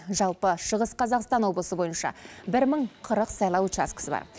жалпы шығыс қазақстан облысы бойынша бір мың қырық сайлау учаскісі бар